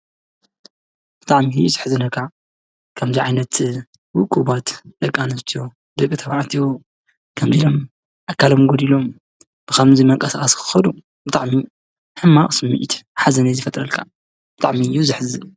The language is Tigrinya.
ብጣዕሚ እዩ ዙሕዝነካ ከም ዚዓይነት ውቁባት ደቃኣንስቲዮ ፣ድቂ ተባዕትዮ ከምዚሎም ኣካሎም ጐድሎም ብኸምዙይ ምንቅስቃስ ክኸዱ ብጥዕሚ ሕማቅ ስሚዕት ሓዘነን ዝፈጥረልካ ብጣዕሚ እዩ ዘሐዝን።